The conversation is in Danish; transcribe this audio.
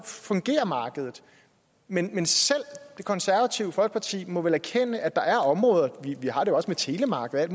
fungerer markedet men men selv det konservative folkeparti må erkende at der er områder vi har det også med telemarkedet